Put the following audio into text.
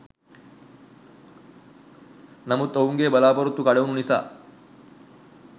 නමුත් ඔවුන්ගේ බලපොරොත්තු කඩවුන නිසා